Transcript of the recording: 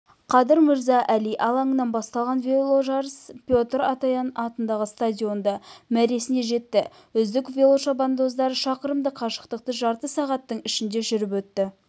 қадыр мырза әли алаңынан басталған веложарыс петр атоян атындағы стадионда мәресіне жетті үздік велошабандоздар шақырымдық қашықтықты жарты сағаттың ішінде жүріп өтті